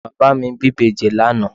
Ìyàwó bàbá mi bí ìbejì lánàá